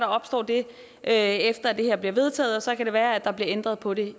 opstår det efter at det her bliver vedtaget og så kan det være at der bliver ændret på det